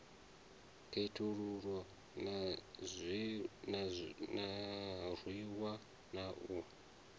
khethululwa a rwiwa na u